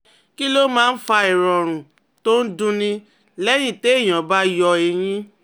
Kí ló máa ń fa ìrọ̀rùn tó ń dunni lẹ́yìn téèyàn bá yọ eyín?